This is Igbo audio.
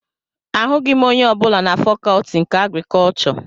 Ahụghị m onye ọbụla na fakọtị nke agrikọchọ